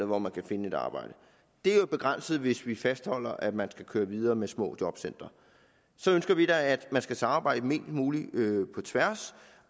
hvor man kan finde et arbejde det er jo begrænset hvis vi fastholder at man skal køre videre med små jobcentre så ønsker vi da at man skal samarbejde mest muligt på tværs